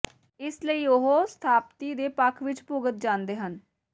ਇਸੇ ਲਈ ਉਹ ਸਥਾਪਤੀ ਦੇ ਪੱਖ ਵਿੱਚ ਭੁਗਤ ਜਾਂਦੇ ਹਨ